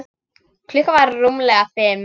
Klukkan var rúmlega fimm.